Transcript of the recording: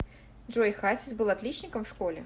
джой хасис был отличником в школе